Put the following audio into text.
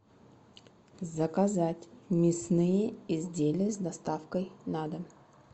заказать мясные изделия с доставкой на дом